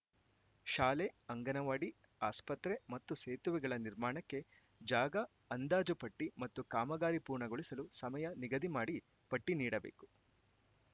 ಶಾಲೆ ಅಂಗನವಾಡಿ ಆಸ್ಪತ್ರೆ ಮತ್ತು ಸೇತುವೆಗಳ ನಿರ್ಮಾಣಕ್ಕೆ ಜಾಗ ಅಂದಾಜು ಪಟ್ಟಿಮತ್ತು ಕಾಮಗಾರಿ ಪೂರ್ಣಗೊಳಿಸಲು ಸಮಯ ನಿಗದಿ ಮಾಡಿ ಪಟ್ಟಿನೀಡಬೇಕು